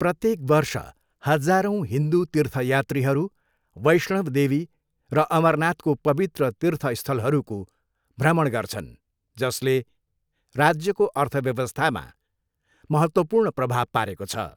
प्रत्येक वर्ष हजारौंँ हिन्दू तीर्थयात्रीहरू वैष्णव देवी र अमरनाथको पवित्र तीर्थस्थलहरूको भ्रमण गर्छन् जसले राज्यको अर्थव्यवस्थामा महत्त्वपूर्ण प्रभाव पारेको छ।